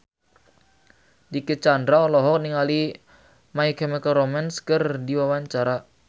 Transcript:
Dicky Chandra olohok ningali My Chemical Romance keur diwawancara